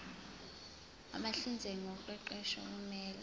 abahlinzeki ngoqeqesho kumele